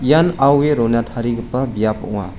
ian aue rona tarigipa biap ong·a.